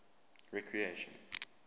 recreation